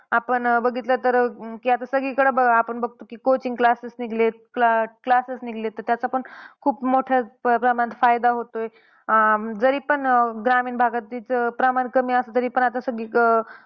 आपण अह बघितलं तर की आता सगळीकडे आपण बघतो की coaching classes निघलेत. Classes निघलेत तर, त्याचा पण खूप मोठ्या प्रमाणात फायदा होतोय. अं जरी पण ग्रामीण भागात त्याचं प्रमाण कमी असले तरी पण आता सगळीकडं.